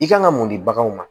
I kan ka mun di baganw ma